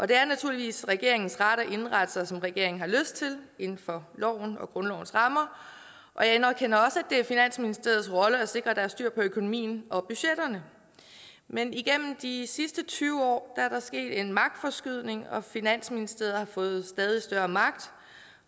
det er naturligvis regeringens ret at indrette sig som regeringen har lyst til inden for loven og grundlovens rammer jeg anerkender også det er finansministeriets rolle at sikre at der er styr på økonomien og budgetterne men igennem de sidste tyve år er der sket en magtforskydning og finansministeriet har fået stadig større magt